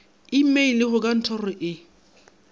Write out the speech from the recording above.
imeile go ka ntoro e